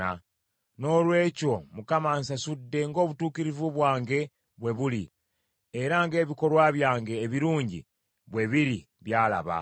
Noolwekyo, Mukama ansasudde ng’obutuukirivu bwange bwe buli, era ng’ebikolwa byange ebirungi bwe biri by’alaba.